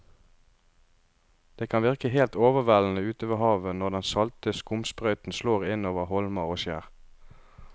Det kan virke helt overveldende ute ved havet når den salte skumsprøyten slår innover holmer og skjær.